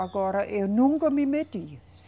Agora, eu nunca me meti.